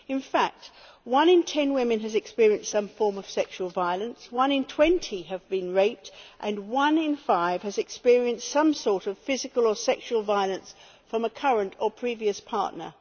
In fact, one in ten women has experienced some form of sexual violence, one in twenty has been raped and one in five has experienced some sort of physical or sexual violence from a current or previous partner.